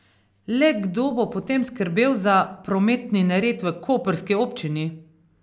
Le kdo bo potem skrbel za prometni nered v koprski občini?